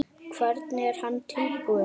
Hvernig er hann útbúinn?